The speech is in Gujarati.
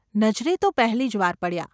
નજરે તો પહેલી જ વાર પડ્યાં.